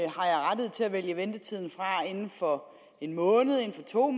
vælge ventetiden fra inden for en måned inden for to